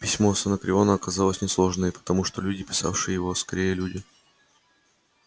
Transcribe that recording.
письмо с анакреона оказалось несложной потому что люди писавшие его скорее люди